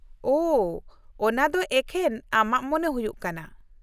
ᱳᱷᱚ, ᱚᱱᱟᱫᱚ ᱮᱠᱷᱮᱱ ᱟᱢᱟᱜ ᱢᱚᱱᱮ ᱦᱩᱭᱩᱜ ᱠᱟᱱᱟ ᱾